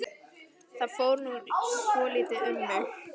Það fór nú svolítið um mig.